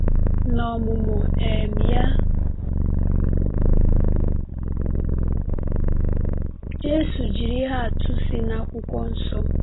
N’ọmụmụ um ya, Jésù jiri ihe atụ si n’Akwụkwọ Nsọ.